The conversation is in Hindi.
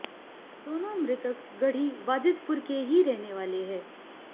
दोनों मृतक गढ़ी वाजिदपुर के ही रहने वाले हैं